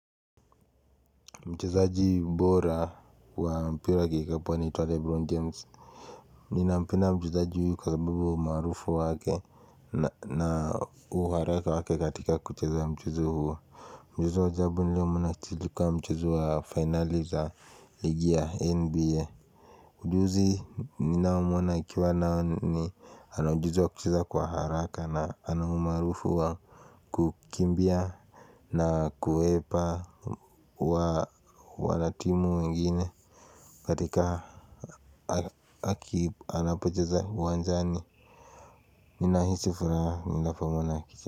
Mchezaji bora wa mpira wa kikapu anaitwa Lebron James. Ninampenda mchezaji huyu kwa sababu ya umarufu wake na uharaka wake katika kucheza mchezo huo. Mchezo wa ajabu niliomwona kuchizwa kwa mchuzo wa finali za ligi ya NBA. Mchuzi nina umwana ikiwa nao ni anu mchuzo kuchiza kwa haraka na anu umarufu huo. Kukimbia na kuepa wanatimu wengine. Katika aki anapocheza uwanjani. Ninahisi furaha ninapoona.